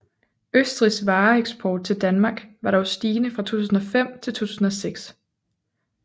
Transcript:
Østrigs vareeksport til Danmark var dog stigende fra 2005 til 2006